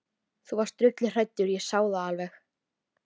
Þú varst drulluhræddur, ég sá það alveg.